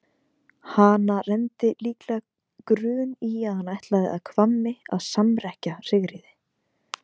Hana renndi líklega grun í að hann ætlaði að Hvammi að samrekkja Sigríði.